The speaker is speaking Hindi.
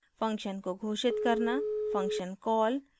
function को घोषित करना function कॉल